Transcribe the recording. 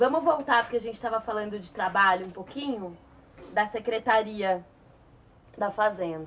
Vamos voltar, porque a gente estava falando de trabalho um pouquinho, da secretaria da Fazenda.